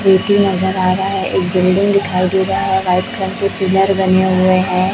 नजर आ रहा है एक बिल्डिंग दिखाई दे रहा है व्हाइट कलर के पिलर लगे हुए हैं।